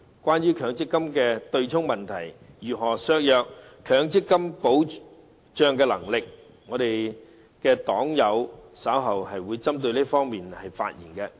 關於強積金的對沖問題如何削弱了強積金的保障能力，我的黨友稍後會針對這方面發言。